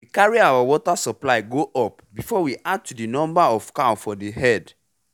we carry our watr supply go up before we add to the number of cow for the herd